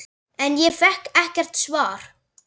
En ég fékk ekkert svar.